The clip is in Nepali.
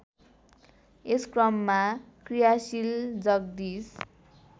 यसक्रममा क्रियाशील जगदीश